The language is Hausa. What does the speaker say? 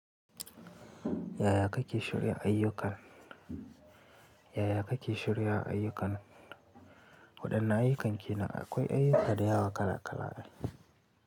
Yaya kake shirya ayyukan? Yaya kake shirya ayyukan? Waɗanne ayyukan kene akwai ayyuka da yawa kala kala ai.